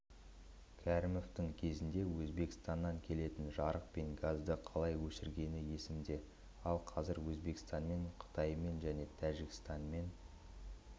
кәрімовтың кезінде өзбекстаннан келетін жарық пен газды қалай өшіргені есімде ал қазір өзбекстанмен қытаймен және тәжікстанмен